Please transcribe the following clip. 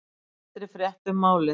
Eldri frétt um málið